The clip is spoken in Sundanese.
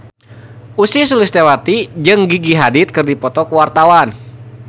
Ussy Sulistyawati jeung Gigi Hadid keur dipoto ku wartawan